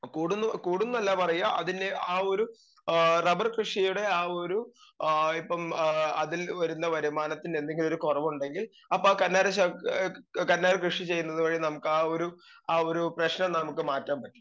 speaker 2 കൂടുന്നു കൂടുന്നല്ല പറയ അതിന് ആ ഒരു എ റബ്ബർ കൃഷിയുടെ ആ ഒരു ഏ ഇപ്പം അതിൽ വരുന്ന വരുമാനത്തിൽ എന്തെങ്കിലൊരു കൊറവുണ്ടെങ്കിൽ അപ്പ ആ കന്നാര ശ കന്നാര കൃഷി ചെയ്യുന്നത് വഴി നമുക്കാ ഒരു ആ ഒരു പ്രശ്നം നമുക്ക് മാറ്റാൻ പറ്റും